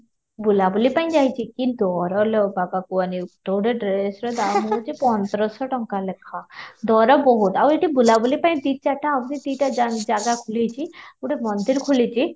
ବୁଲା ବୁଲି ପାଇଁ କିନ୍ତୁ କି ଦର ଲୋ ବାବା କୁହନି ତ ଗୋଟେ dress ର ଦାମ ହେଉଛି ପନ୍ଦର ଶହ ଟଙ୍କା ଲେଖା, ଦର ବହୁତ ଆଉ ଏଠି ବୁଲା ବୁଲି ପାଇଁ ଦୁଇ ଚାରିଟା ଆହୁରି ଦୁଇ ଟା ଜାଗା ଖୋଲିଛି ଗୋଟେ ମନ୍ଦିର ଖୋଲିଛି